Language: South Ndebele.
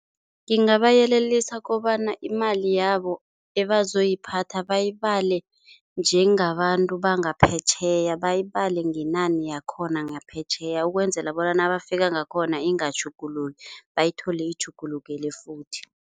Ngingabayelelisa kobana imali yabo abazoyiphatha bayibale njengabantu bangaphetjheya, bayibale ngenani yakhona ngaphetjheya ukwenzela bona nabafika ngakhona ingatjhuguluki, bayithole itjhugulukele futhi,